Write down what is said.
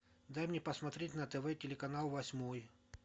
дай мне посмотреть на тв телеканал восьмой